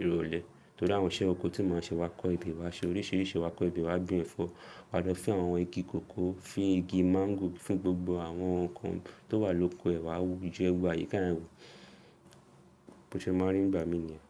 ìrọ̀lẹ́. Nítorí àwọn iṣẹ́ oko tí màá ṣe, wà kọ́ ebẹ̀ wá ṣe oríṣiríṣi wà kọ́ ebẹ̀, wá gbin ẹ̀fọ́, wa lo fin àwọn igi kankan, fín igi mango, fín gbogbo àwọn nǹkan tó wà lóko ẹ̀ wá wù, ye gbogbo àyíká yen wo. Bí ṣe máa ń rí ìgbà mí i ni.